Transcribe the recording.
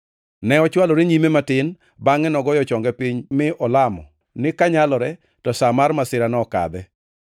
Ne ochwalore nyime matin bangʼe to ogoyo chonge piny mi olamo ni kanyalore to sa mar masirano okadhe.